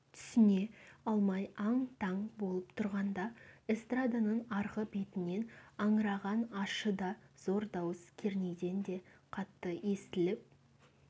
түсіне алмай аң-таң болып тұрғанда эстраданың арғы бетінен аңыраған ащы да зор дауыс кернейден де қатты естіліп